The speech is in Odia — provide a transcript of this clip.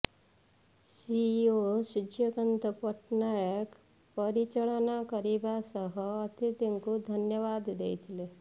ସିଇଓ ସୂର୍ଯ୍ୟକାନ୍ତ ପଟ୍ଟନାୟକ ପରିଚାଳନା କରିବା ସହ ଅତିଥିଙ୍କୁ ଧନ୍ୟବାଦ ଦେଇଥିଲେ